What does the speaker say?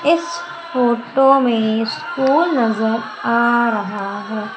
इस फोटो में स्कूल नजर आ रहा है।